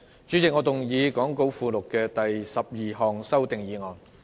主席，我動議講稿附錄的第12項修訂議案。